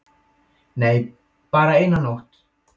"""Nei, bara eina nótt."""